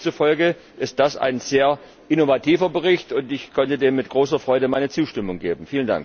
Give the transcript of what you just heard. Demzufolge ist das ein sehr innovativer Bericht, und ich konnte dem mit großer Freude meine Zustimmung geben.